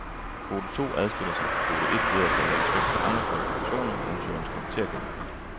Kvote to adskiller sig fra kvote et ved, at der lægges vægt på andre kvalifikationer end ansøgerens karaktergennemsnit.